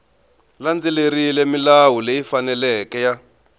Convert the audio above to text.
landzelerile milawu leyi faneleke ya